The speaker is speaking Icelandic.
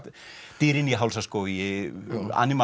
dýrin í Hálsaskógi